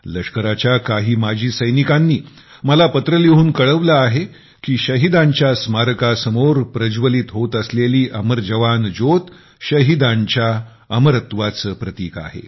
लष्कराच्या माजी सैनिकांनी मला पत्र लिहून कळवले आहे की शहिदांच्या स्मारकासमोर प्रज्वलित होत असलेली अमर जवान ज्योत शहिदांच्या अमरत्वाचे प्रतिक आहे